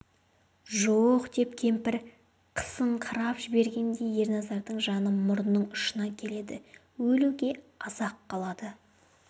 жоқ деп кемпір қысыңқырап жібергенде ерназардың жаны мұрнының ұшына келеді өлуге аз-ақ қалады